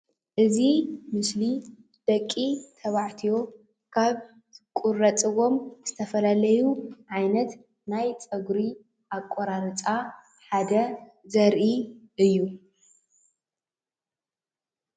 እዚ ምስሊ ደቂ ተባዕትዮ ካብ ዝቁረፅዎም ዝተፈላለዩ ዓይነት ናይ ፀጉሪ አቋራርፃ ሓደ ዘርኢ እዩ፡፡